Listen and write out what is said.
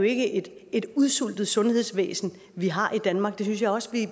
ikke et udsultet sundhedsvæsen vi har i danmark det synes jeg også at